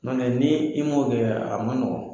Ɲɔntɛ ni i m'o kɛ a ma nɔgɔn.